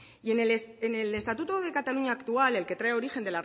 en el estatuto de cataluña actual el que trae origen